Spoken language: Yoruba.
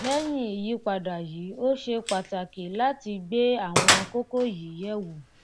lẹ́yìn ìyípadà yìí ó ṣe pàtàkì láti gbé àwọn kókó yìí yẹ̀ wò.